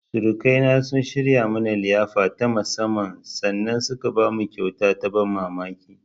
Surukaina sun shirya mana liyafa ta musammman sannan suka bamu kyauta ta ban mamamki.